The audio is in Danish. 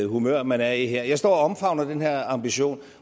humør man er i her jeg står og omfavner den her ambition